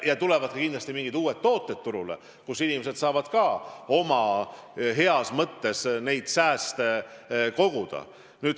Ja tulevad kindlasti ka mingid uued tooted turule, nii et inimesed saavad heas mõttes sääste koguda.